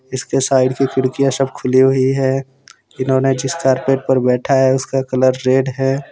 इसके साइड की खिड़कियां सब खुली हुई है इन्होंने जिस कारपेट पर बैठा है उसका कलर रेड है।